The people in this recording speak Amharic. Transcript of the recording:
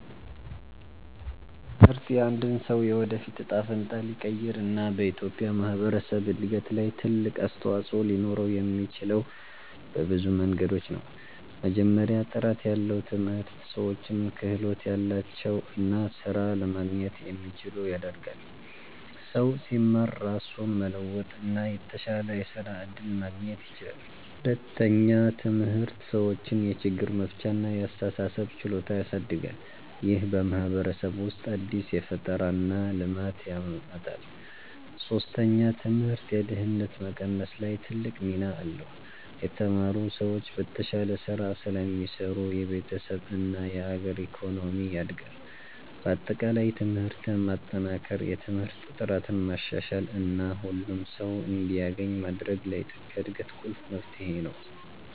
ትምህርት የአንድን ሰው የወደፊት እጣ ፈንታ ሊቀይር እና በኢትዮጵያ ማህበረሰብ እድገት ላይ ትልቅ አስተዋፅኦ ሊኖረው የሚችለው በብዙ መንገዶች ነው። መጀመሪያ፣ ጥራት ያለው ትምህርት ሰዎችን ክህሎት ያላቸው እና ስራ ለማግኘት የሚችሉ ያደርጋል። ሰው ሲማር ራሱን መለወጥ እና የተሻለ የስራ እድል ማግኘት ይችላል። ሁለተኛ፣ ትምህርት ሰዎችን የችግር መፍቻ እና የአስተሳሰብ ችሎታ ያሳድጋል። ይህ በማህበረሰብ ውስጥ አዲስ ፈጠራ እና ልማት ያመጣል። ሶስተኛ፣ ትምህርት የድህነት መቀነስ ላይ ትልቅ ሚና አለው። የተማሩ ሰዎች በተሻለ ስራ ስለሚሰሩ የቤተሰብ እና የአገር ኢኮኖሚ ያድጋል። በአጠቃላይ ትምህርትን ማጠናከር፣ የትምህርት ጥራትን ማሻሻል እና ሁሉም ሰው እንዲያገኝ ማድረግ ለኢትዮጵያ እድገት ቁልፍ መፍትሄ ነው።